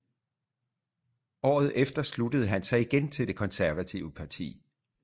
Året efter sluttede han sig igen til det konservative parti